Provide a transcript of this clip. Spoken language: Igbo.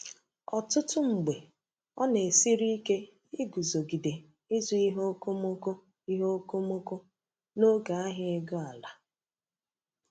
Ọtụtụ mgbe, ọ na-esiri ike iguzogide ịzụ ihe okomoko ihe okomoko n’oge ahịa ego-ala.